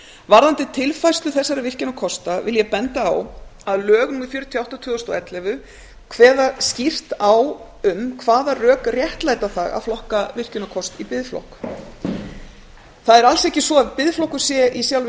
varðandi tilfærslu þessara virkjunarkosta vil ég benda á að lög númer fjörutíu og átta tvö þúsund og ellefu kveða skýrt á um hvaða rök réttlæta það að flokka virkjunarkost í biðflokk það er alls ekki svo að biðflokkur sé í sjálfu